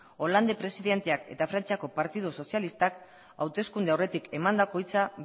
hollandek presidenteak eta frantziako partidu sozialistak hauteskunde aurretik emandako hitza